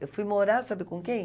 Eu fui morar, sabe com quem?